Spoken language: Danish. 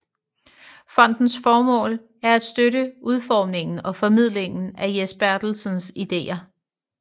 Fondens formål er at støtte udformningen og formidlingen af Jes Bertelsens ideer